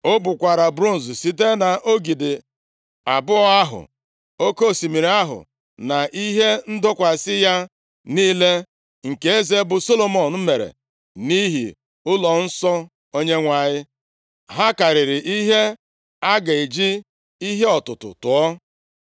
O bukwara bronz sitere nʼogidi abụọ ahụ, oke Osimiri ahụ na ihe ndọkwasị ya niile, nke eze bụ Solomọn mere nʼihi ụlọnsọ Onyenwe anyị. Ha karịrị ihe a ga-eji ihe ọtụtụ tụọ.